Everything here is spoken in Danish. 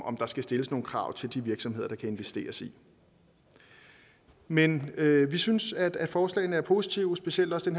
om der skal stilles nogle krav til de virksomheder der kan investeres i men vi synes at forslaget er positivt specielt også